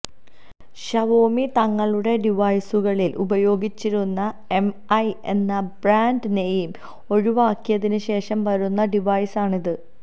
Xiaomi തങ്ങളുടെ ഡിവൈസുകളിൽ ഉപയോഗിച്ചിരുന്ന എംഐ എന്ന ബ്രാന്റ് നെയിം ഒഴിവാക്കിയതിന് ശേഷം വരുന്ന ഡിവൈസാണ് ഇത്